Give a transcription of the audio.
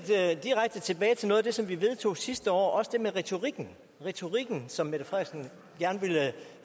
direkte tilbage til noget af det som vi vedtog sidste år også det med retorikken retorikken som